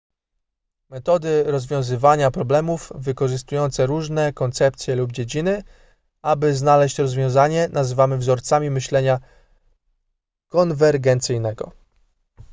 metody rozwiązywania problemów wykorzystujące różne koncepcje lub dziedziny aby znaleźć rozwiązanie nazywany wzorcami myślenia konwergencyjnego